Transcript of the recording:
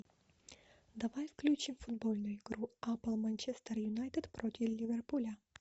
давай включим футбольную игру апл манчестер юнайтед против ливерпуля